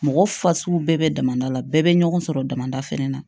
Mɔgɔ fasugu bɛɛ bɛ damada la bɛɛ bɛ ɲɔgɔn sɔrɔ damada fana na